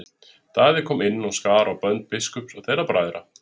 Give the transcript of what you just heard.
Daði kom inn og skar á bönd biskups og þeirra bræðra.